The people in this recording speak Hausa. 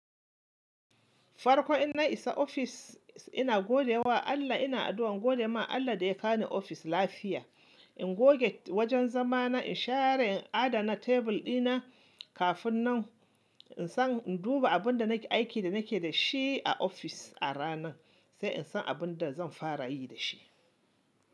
Farko ina isa ofis ina gode wa Allah, ina addu'an gode ma Allah da ya kani ofis lafiya. In goge wajen zama na, in share, in adana tebur dina. Kafin nan, in san, in duba abin da nake aikin da nake da shi a ofis a ranan, sai in san abin da zan fara yi da shi.